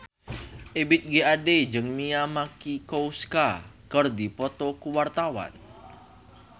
Ebith G. Ade jeung Mia Masikowska keur dipoto ku wartawan